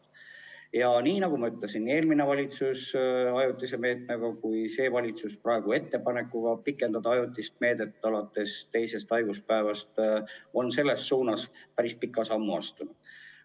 Ja nagu ma ütlesin, on eelmine valitsus ajutise meetmega ja praegune valitsus ettepanekuga pikendada seda ajutist meedet alates teisest haiguspäevast, astunud selle suunas päris pika sammu.